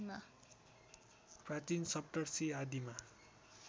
प्राचीन सप्तर्षि आदिमा